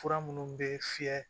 Fura minnu bɛ fiyɛ